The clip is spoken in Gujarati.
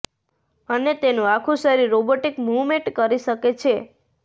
અને તેનું આખું શરીર રોબોટિક મૂવમેન્ટ કરી શકે છે